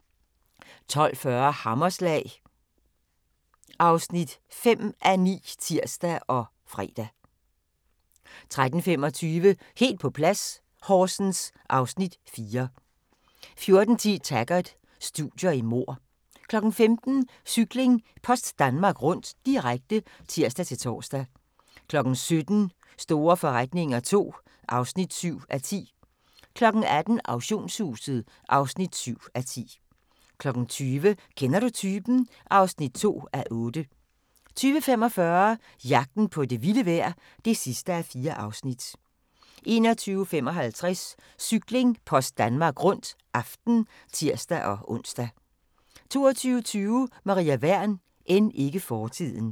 12:40: Hammerslag (5:9)(tir og fre) 13:25: Helt på plads - Horsens (Afs. 4) 14:10: Taggart: Studier i mord 15:00: Cykling: Post Danmark Rundt, direkte (tir-tor) 17:00: Store forretninger II (7:10) 18:00: Auktionshuset (7:10) 20:00: Kender du typen? (2:8) 20:45: Jagten på det vilde vejr (4:4) 21:55: Cykling: Post Danmark Rundt – aften (tir-ons) 22:20: Maria Wern: End ikke fortiden